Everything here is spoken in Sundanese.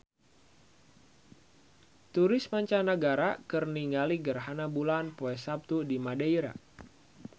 Turis mancanagara keur ningali gerhana bulan poe Saptu di Madeira